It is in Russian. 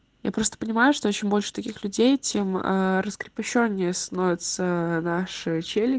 я просто понимаю что чем больше таких людей тем раскрепощение становится наши чели